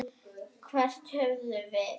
Hvern höfðum við?